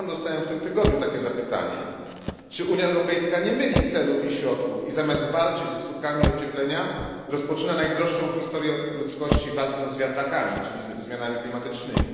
Ja sam dostałem w tym tygodniu takie zapytanie czy Unia Europejska nie myli celów i środków, i zamiast walczyć ze skutkami ocieplenia, rozpoczyna najdroższą w historii ludzkości walkę z wiatrakami, czyli ze zmianami klimatycznymi?